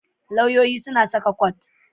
Lauyoyi suna saka kot.